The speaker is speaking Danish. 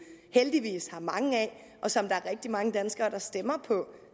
heldigvis har mange af og som der er rigtig mange danskere der stemmer på